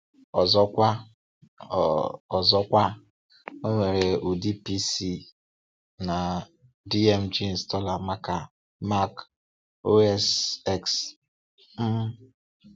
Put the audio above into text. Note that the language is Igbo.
Ọzọkwa, ọ Ọzọkwa, ọ nwere ụdị PC na .dmg installer maka Mac OS X. um